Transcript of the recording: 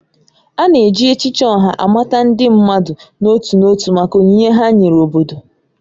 A na-eji echichi Oha amata ndị mmadụ n'otu n'otu maka onyinye ha nyere obodo.